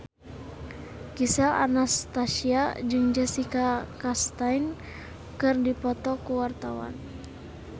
Gisel Anastasia jeung Jessica Chastain keur dipoto ku wartawan